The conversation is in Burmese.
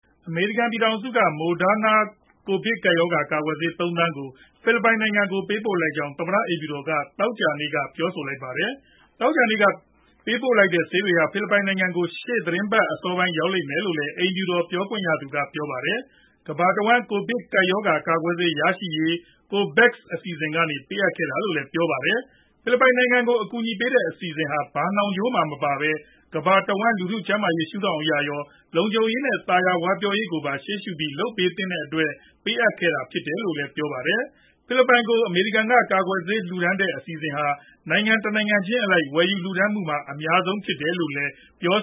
အမေရိကန် ပြည်ထောင်စုက Moderna ကိုဗစ်ကပ်ရောဂါ ကာကွယ်ဆေး ၃သန်း ကို ဖိလစ်ပိုင်နိုင်ငံကို ပေးပို့လိုက်ကြောင်း သမ္မတအိမ်ဖြူတော်က သောကြာနေ့မှာပဲ ပြောဆိုလိုက်ပါတယ်။ သောကြာနေ့က ပေးပို့လိုက်တဲ့ ဆေးတွေဟာ ဖိလစ်ပိုင်ကို ရှေ့သီတင်းပတ် အစောပိုင်းမှာ ရောက်ရှိလိမ့်မယ်လု့ိလည်း အိမ်ဖြူတော် ပြောခွင့်ရသူက ပြောပါတယ်။ ကမ္ဘာတဝန်း ကိုဗစ်ရောဂါ ကာကွယ်ဆေး ရရှိရေး COVAX အစီအစဉ် ကနေ ပေးအပ်ခဲ့တာလို့လည်း ပြောပါတယ်။ ဖိလစ်ပိုင် နိုင်ငံကို အကူအညီပေးတဲ့ အစီအစဉ်ဟာ ဘာနှောင်ကြိုးမှ မပါပဲ ကမ္ဘာတဝန်း လူထုကျန်းမာရေး ရှုဒေါင့်အရရော၊ လုံခြုံရေးနဲ့ သာယာဝပြောရေးကိုပါ ရှေ့ရှုပြီး လုပ်သင့်တဲ့အတွက် ပေးအပ်ခဲ့တာ ဖြစ်တယ်လို့လည်း ပြောပါတယ်။ ဖိလစ်ပိုင်ကို အမေရိကန်က ကာကွယ်ဆေး လှူဒါန်းတဲ့ အစီအစဉ်ဟာ နိုင်ငံတနိုင်ငံချင်းအလိုက် ဝယ်ယူလှူဒါန်းမှုမှာ အများဆုံး ဖြစ်တယ်လို့လည်း ပြော